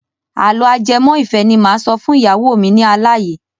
Àlọ́ ajẹmọ́-ìfẹ́ ni mo máa sọ fún ìyàwó mi ní alá yìí.